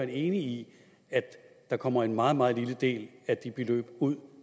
enig i at der kommer en meget meget lille del af de beløb ud